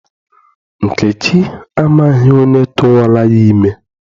Nkechi amaghị onye tụwara ya ime.